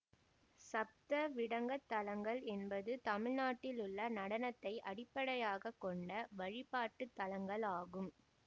சப்தவிடங்கத்தலங்கள் என்பது தமிழ்நாட்டில் உள்ள நடனத்தை அடிப்படையாக கொண்ட வழிபாட்டு தலங்கள் ஆகும்